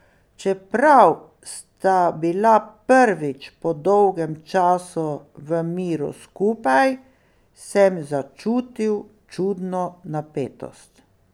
Čeprav sva bila prvič po dolgem času v miru skupaj, sem začutil čudno napetost.